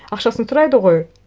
ақшасын сұрайды ғой